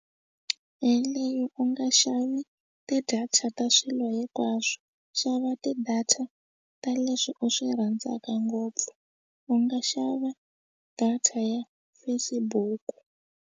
Yeleyo u nga xavi ti-data ta swilo hinkwaswo xava ti-data ta leswi u swi rhandzaka ngopfu u nga xava data ya Facebook.